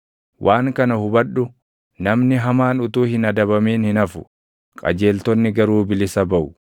Waan kana hubadhu: Namni hamaan utuu hin adabamin hin hafu; qajeeltonni garuu bilisa baʼu.